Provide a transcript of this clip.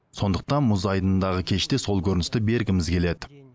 сондықтан мұз айдынындағы кеште сол көріністі бергіміз келеді